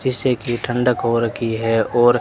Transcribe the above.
जैसे की ठंडक हो रखी है और--